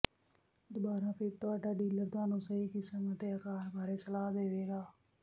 ਦੁਬਾਰਾ ਫਿਰ ਤੁਹਾਡਾ ਡੀਲਰ ਤੁਹਾਨੂੰ ਸਹੀ ਕਿਸਮ ਅਤੇ ਅਕਾਰ ਬਾਰੇ ਸਲਾਹ ਦੇਵੇਗਾ